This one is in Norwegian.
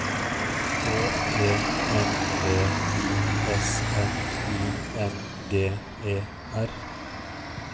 H E N V I S N I N G E R